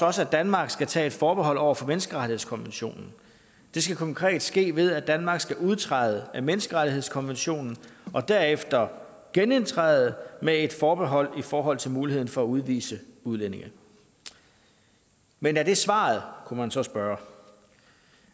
også at danmark skal tage et forbehold over for menneskerettighedskonventionen det skal konkret ske ved at danmark skal udtræde af menneskerettighedskonventionen og derefter genindtræde med et forbehold i forhold til muligheden for at udvise udlændinge men er det svaret kunne man så spørge